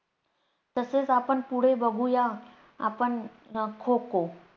तसेच आपण पुढे बघूया आपण अं खो खो.